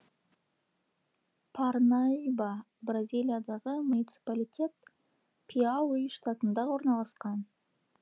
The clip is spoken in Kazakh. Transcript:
парнаиба бразилиядағы муниципалитет пиауи штатында орналасқан